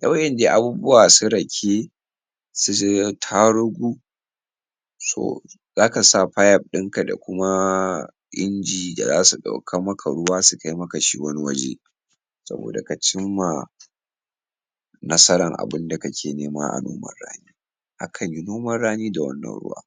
da ywan dai abubuwa irin su rake su tarugu su za ka sa pipe ɗinka da kuma inji da za su ɗaukar maka ruwa su kai maka wani waje. saboda ka cimma nasarar abin da kake nema a noman rani a kanyi noman rani da wannan ruwa.